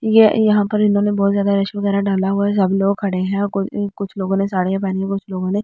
ये यहां पर इन्होंने बहोत ज्यादा रश वगैरा डाला हुआ है सब लोग खड़े हैं और को ऊं कुछ लोगों ने साड़ियां पहनी हुई कुछ लोगों ने --